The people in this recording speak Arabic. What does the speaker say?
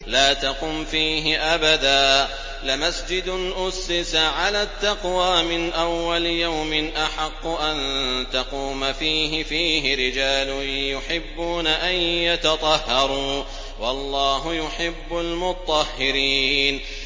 لَا تَقُمْ فِيهِ أَبَدًا ۚ لَّمَسْجِدٌ أُسِّسَ عَلَى التَّقْوَىٰ مِنْ أَوَّلِ يَوْمٍ أَحَقُّ أَن تَقُومَ فِيهِ ۚ فِيهِ رِجَالٌ يُحِبُّونَ أَن يَتَطَهَّرُوا ۚ وَاللَّهُ يُحِبُّ الْمُطَّهِّرِينَ